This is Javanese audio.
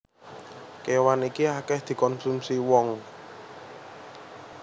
Kéwan iki akèh dikonsumsi wong